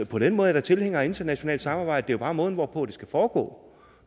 på den måde er jeg tilhænger af internationalt samarbejde det er bare måden hvorpå det skal foregå